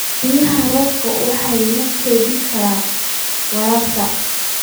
Biyaha roobka waxa lagu kaydin karaa waraabka.